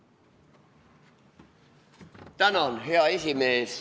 Tänan, hea esimees!